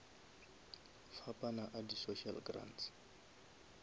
fapana a di social grants